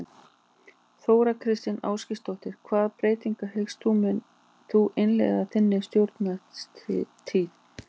Þóra Kristín Ásgeirsdóttir: Hvaða breytingar hyggst þú innleiða í þinni stjórnartíð?